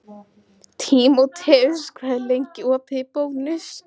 Tímoteus, hvað er lengi opið í Bónus?